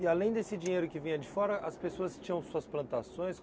E além desse dinheiro que vinha de fora, as pessoas tinham suas plantações?